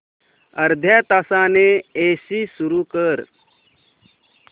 अर्ध्या तासाने एसी सुरू कर